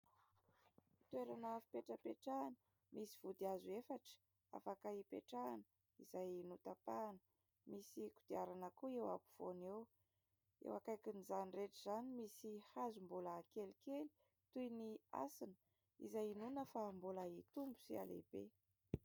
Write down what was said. Toerana fipetrapetrahana misy vodihazo efatra afaka hipetrahana izay notapahana. Misy kodiarana koa eo afovoany eo. Eo akaikin'izany rehetra izany misy hazo mbola kelikely toy ny hasina izay inoana fa mbola hitombo sy hihalehibe.